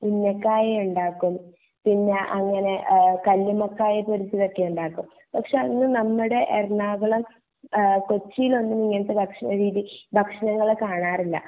ഉന്നക്കായ ഉണ്ടാക്കും പിന്നെ അനഗ്നെ കല്ലുമ്മക്കായ പൊരിച്ചത് ഒക്കെ ഉണ്ടാക്കും പക്ഷെ അത് നമ്മടെ എറണാകുളം കൊച്ചിയിൽ ഒന്നും ഇങ്ങനത്തെ ഭക്ഷണരീതി ഭക്ഷണങ്ങൾ കാണാറില്ല